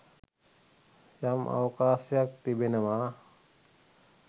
යම් අවකාශයක් තිබෙනවා.